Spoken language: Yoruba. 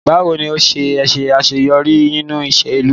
Bawo ni o ṣe ṣaṣeyọri ninu iṣelu?